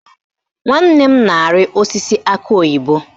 Nwanne m na-arị osisi akị oyibo